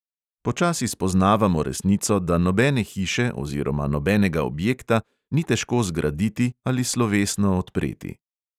Počasi spoznavamo resnico, da nobene hiše oziroma nobenega objekta ni težko zgraditi ali slovesno odpreti.